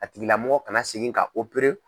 A tigilamɔgɔ kana segin ka